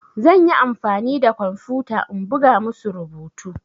Zan yi amfani da kwamfuta in buga musu rubutu.